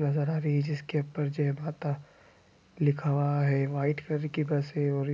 नज़र आ रही है जिसके ऊपर जय माता लिखा हुआ है व्हाइट कलर कि बस है और